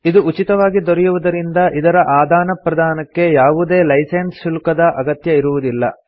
ಇದು ಉಚಿತವಾಗಿ ದೊರೆಯುವುದರಿಂದ ಇದರ ಆದಾನ ಪ್ರದಾನಕ್ಕೆ ಯಾವುದೇ ಲೈಸೆನ್ಸ್ ಶುಲ್ಕದ ಅಗತ್ಯ ಇರುವುದಿಲ್ಲ